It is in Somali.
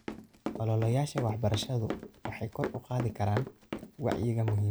Ololayaasha waxbarashadu waxay kor u qaadi karaan wacyiga muhiimadda ay leedahay.